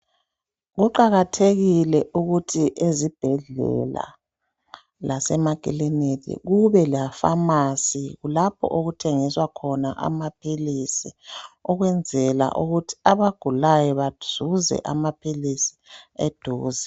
Kuqakathekile ukuthi ezibhedlela lasemakilinika kubelePharmacy lapho okuthengiswa khona amaphilisi ukuzwenzela ukuthi abagulayo bazuze amaphilisi eduze.